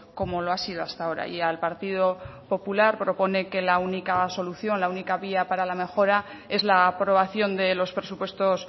como lo ha sido hasta ahora y al partido popular propone que la única solución la única vía para la mejora es la aprobación de los presupuestos